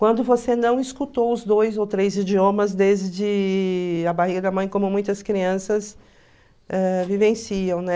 Quando você não escutou os dois ou três idiomas desde a barriga da mãe, como muitas crianças ãh vivenciam, né?